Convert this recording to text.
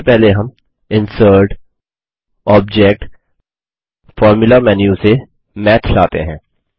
सबसे पहले हम इंसर्टगटोबजेक्टग्टफॉर्मुला मेन्यू से मैथ लाते हैं